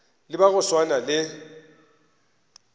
le ba go swana le